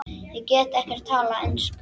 Ég get ekkert talað ensku.